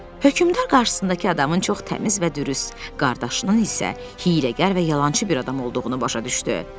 Hökmdar qarşısındakı adamın çox təmiz və dürüst, qardaşının isə hiyləgər və yalançı bir adam olduğunu başa düşdü.